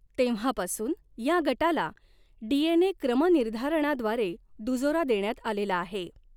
तेव्हापासून या गटाला डीएनए क्रमनिर्धारणाद्वारे दुजोरा देण्यात आलेला आहे.